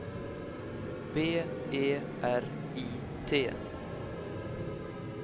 B E R I T